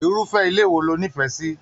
Irufẹ ilé wò lo n'ifẹ sí?